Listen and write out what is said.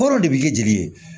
Kɔrɔ de bi kɛ jeli ye